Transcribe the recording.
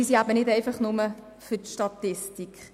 Sie sind eben nicht nur für die Statistik.